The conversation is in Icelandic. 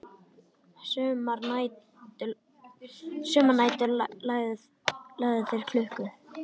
Sumar nætur lágu þeir klukku